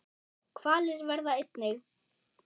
Hvalir verða einnig